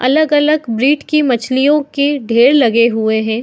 अलग-अलग ब्रीड की मछलियों के ढेर लगे हुए हैं।